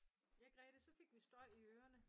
Ja Grete så fik vi støj i ørerne